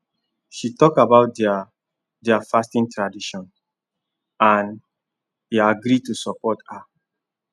she talk about their their fasting tradition and e agree to support her